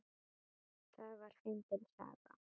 Það var fyndin saga.